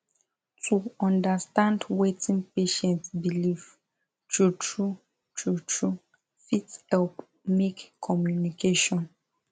to understand wetin patient believe truetrue truetrue fit help make communication